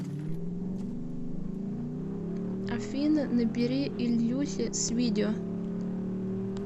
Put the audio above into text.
афина набери ильюхе с видео